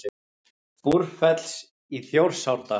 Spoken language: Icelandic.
Búrfells í Þjórsárdal.